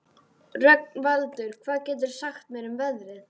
Rögnvaldur, hvað geturðu sagt mér um veðrið?